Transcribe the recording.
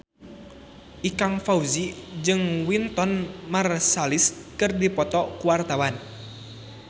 Ikang Fawzi jeung Wynton Marsalis keur dipoto ku wartawan